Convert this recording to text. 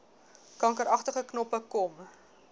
kankeragtige knoppe kom